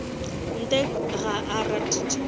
ntle ga a rate tše